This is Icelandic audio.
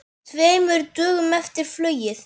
Tveimur dögum eftir flugið.